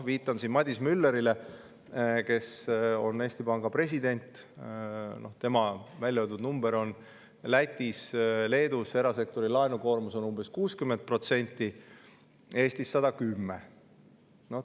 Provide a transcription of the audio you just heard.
Viitan siin Madis Müllerile, kes on Eesti Panga president, tema välja öeldud numbritele: Lätis ja Leedus on erasektori laenukoormus umbes 60%, Eestis 110%.